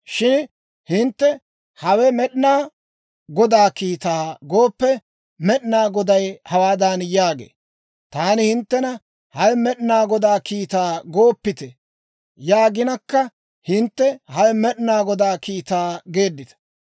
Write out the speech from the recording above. Shin hintte, ‹Hawe Med'inaa Godaa kiitaa› gooppe, Med'inaa Goday hawaadan yaagee; ‹Taani hinttena, Hawe Med'inaa Godaa kiitaa gooppite› yaaginakka hintte, ‹Hawe Med'inaa Godaa kiitaa› geeddita.